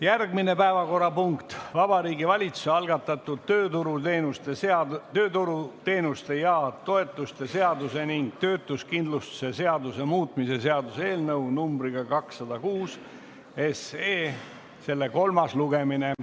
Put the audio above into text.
Järgmine päevakorrapunkt on Vabariigi Valitsuse algatatud tööturuteenuste ja -toetuste seaduse ning töötuskindlustuse seaduse muutmise seaduse eelnõu numbriga 206, selle kolmas lugemine.